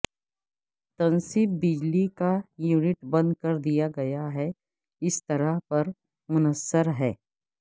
تنصیب بجلی کا یونٹ بند کر دیا گیا ہے اس طرح پر منحصر ہے